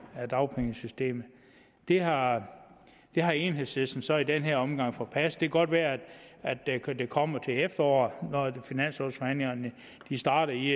af dagpengesystemet det har har enhedslisten så i den her omgang forpasset det kan godt være at det kommer til efteråret når finanslovsforhandlingerne starter i